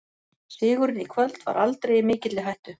Sigurinn í kvöld var aldrei í mikilli hættu.